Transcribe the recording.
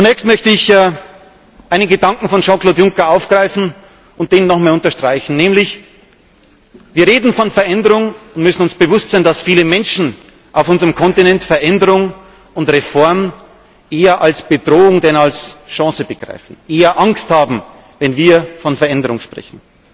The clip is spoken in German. Zunächst möchte ich einen Gedanken von Jean Claude Juncker aufgreifen und nochmals unterstreichen Wir reden von Veränderung und müssen uns bewusst sein, dass viele Menschen auf unserem Kontinent Veränderung und Reform eher als Bedrohung denn als Chance begreifen, eher Angst haben, wenn wir von Veränderung sprechen.